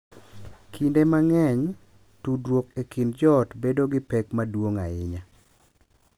Kinde mang’eny, tudruok e kind joot bedo gi pek maduong’ ahinya .